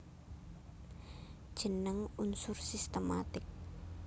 Jeneng unsur sistematik